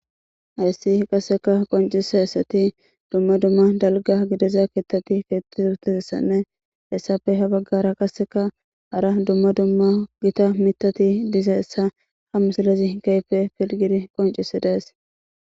Hayisi qaseka qoncises duma duma daliga gidida kethatinee isape habagara hara duma duma gita mithati dizaysa ha misilezi kehipe qonicises